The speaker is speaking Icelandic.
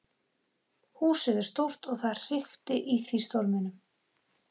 Húsið er stórt og það hrikti í því í storminum.